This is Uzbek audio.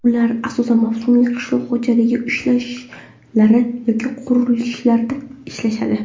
Ular asosan mavsumiy qishloq xo‘jaligi ishlari yoki qurilishlarda ishlashadi.